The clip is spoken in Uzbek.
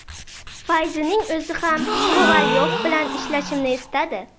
Fayzining o‘zi ham Kovalyov bilan ishlashimni istadi.